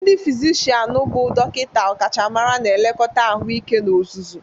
Ndi fizishian bụ dọkịta ọkachamara na nlekọta ahụike n'ozuzu.